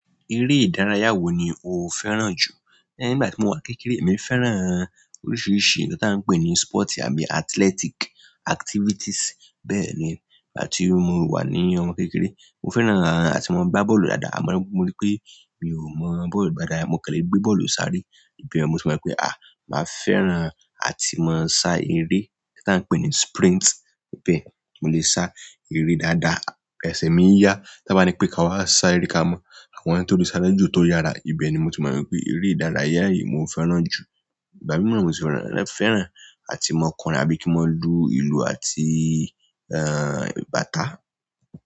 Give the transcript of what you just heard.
Eré ìdárayá wo ni o fẹ́ràn jù? Nígbà tí mo wà kékeré, èmi fẹ́ràn oríṣiríṣi ohun tí a ń pè ní sport àbí athletic activities. Bẹ́ẹ̀ ni, nígbà tí mo wà ní ọmọ kékeré, mo fẹ́ràn àti máa ń gbá bọ́ọ̀lù dáadáa. To ba ri mo ri pe, mi o ma bọ́ọ̀lù gba dáadáa mo kan le gbe bọ́ọ̀lù sáré. Ìbẹ̀ yẹ̀n mo tì mọ̀ pé, à! Màá fẹ́ràn àti máa sá eré tí a ń pè ní sprint. Bẹ́ẹ̀, mo lè sá eré dáadáa. Ẹsẹ̀ mi ń ya. Tábá ri pé ká wá sá eré ká mọ́ àwọn tí ó le sá ju, tó yára. Ìbẹ̀ ni mo tì mọ̀ n pé eré ìdárayá yìí mo fẹ́ràn jù. Ìgbá míran, mo sì fẹ́ràn àti máa kọrin àbí kí n máa lu ìlù àti, ẹ́, bàtá.